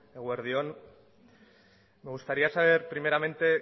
eguerdi on me gustaría saber primeramente